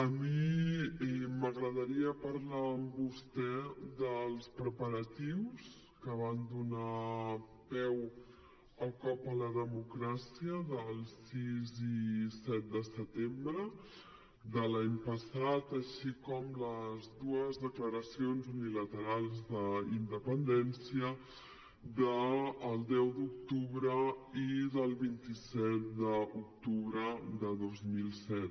a mi m’agradaria parlar amb vostè dels preparatius que van donar peu al cop a la democràcia del sis i set de setembre de l’any passat així com de les dues declaracions unilaterals d’independència del deu d’octubre i del vint set d’octubre de dos mil disset